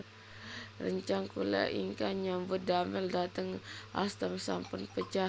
Rencang kula ingkang nyambut damel dhateng Alstom sampun pejah